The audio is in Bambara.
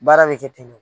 Baara bɛ kɛ ten de